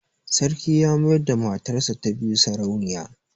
Sarki ya mayar da matarsa ta biyu sarauniya.